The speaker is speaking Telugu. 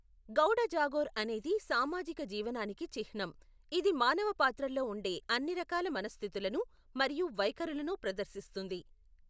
గౌడ జాగోర్ అనేది సామాజిక జీవనానికి చిహ్నం, ఇది మానవ పాత్రల్లో ఉండే అన్ని రకాల మనస్థితులను మరియు వైఖరులను ప్రదర్శిస్తుంది.